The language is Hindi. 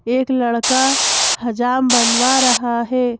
एक लड़का हजाम बनवा रहा है।